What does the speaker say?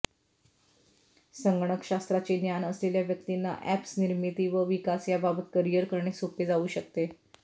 संगणकशास्त्राचे ज्ञान असलेल्या व्यक्तींना अॅप्स निर्मिती व विकास याबाबत करिअर करणे सोपे जाऊ शकते